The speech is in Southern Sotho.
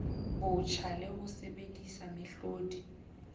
botjha le ho sebedisa mehlodi